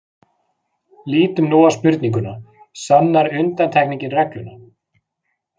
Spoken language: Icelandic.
Lítum nú á spurninguna: sannar undantekningin regluna?.